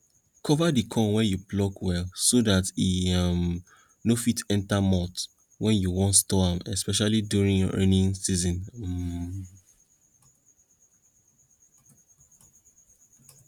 cover di corn wey you pluck well so dat e um no fit enta moth wen you wan store am especially during rainy season um